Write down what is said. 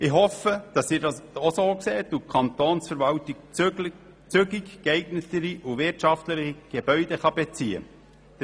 Ich hoffe, dass Sie das auch so sehen und die Kantonsverwaltung zügig geeignetere und wirtschaftlichere Gebäude beziehen kann.